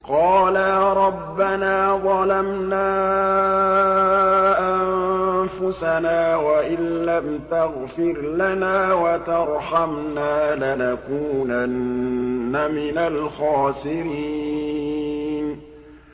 قَالَا رَبَّنَا ظَلَمْنَا أَنفُسَنَا وَإِن لَّمْ تَغْفِرْ لَنَا وَتَرْحَمْنَا لَنَكُونَنَّ مِنَ الْخَاسِرِينَ